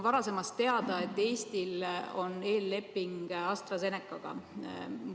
Varasemast on teada, et Eestil on eelleping AstraZenecaga.